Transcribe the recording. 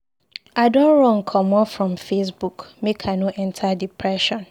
I don run comot from Facebook make I no enta depression.